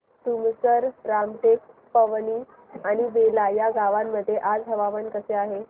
तुमसर रामटेक पवनी आणि बेला या गावांमध्ये आज हवामान कसे आहे